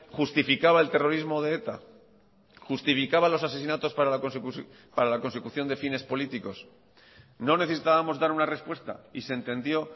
justificaba el terrorismo de eta justificaba los asesinatos para la consecución de fines políticos no necesitábamos dar una respuesta y se entendió